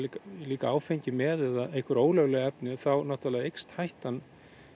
líka áfengi með eða einhver ólögleg efni þá náttúrulega eykst hættan